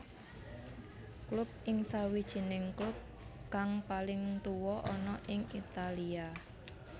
Klub ini sawijing klub kang paling tuwa ana ing Italia